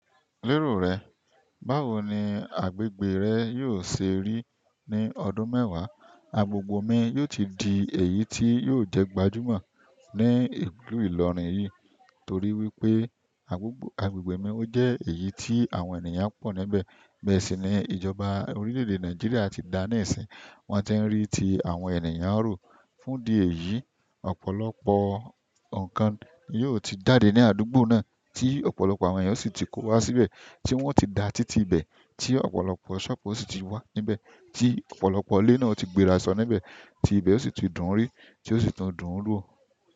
Lérò rẹ, báwo ni agbègbè rẹ yóò ṣe rí ní ọdún mẹ́wàá, agbègbè mi yó ti di èyí tí yóò jẹ́ gbajúmọ̀ ní ìlú Ìlọrin yìí torí wípé agbègbè mi ó jẹ́ èyí tí àwọn ènìyàn pọ̀ níbẹ̀. Bẹ́ẹ̀ sì ni ìjọba orílẹ̀ èdè Nàìjíríà ti dáà ni si n, wọ́n ti ń rí tí àwọn ènìyàn ń roo, fún di èyí, ọ̀pọ̀lọpọ̀ nǹkan yóò ti dáàde ní àdúgbò náà tí ọ̀pọ̀lọpọ̀ àwọn èyàn o sì ti kó wá síbẹ̀ tí wọ́n ti da títí ibẹ̀, tí ọ̀pọ̀lọpọ̀ ṣoọpu o sì ti wà níbẹ̀, tí ọ̀pọ̀lọpọ̀ ilé náà o ti gbéra sọ́n níbẹ̀, tí ibẹ̀ ó sì ti dùn ún rí tí ó sì ti dùn ún wò.